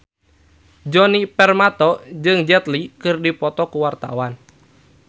Djoni Permato jeung Jet Li keur dipoto ku wartawan